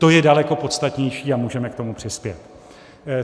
To je daleko podstatnější a můžeme k tomu přispět.